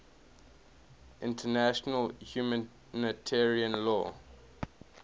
international humanitarian law